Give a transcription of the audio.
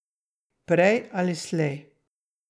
Prej ali slej.